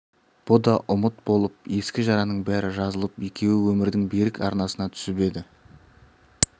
бұ да ұмыт болып ескі жараның бәрі жазылып екеуі өмірдің берік арнасына түсіп еді